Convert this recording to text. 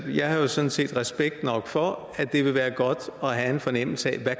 jeg har sådan set respekt for at det vil være godt at have en fornemmelse af